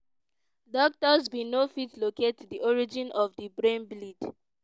doctors bin no fit locate di origin of di brain bleed.